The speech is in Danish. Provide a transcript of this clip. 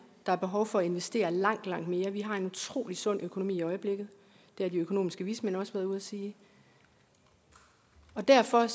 der er behov for at vi investerer langt langt mere vi har en utrolig sund økonomi i øjeblikket det har de økonomiske vismænd også været ude at sige derfor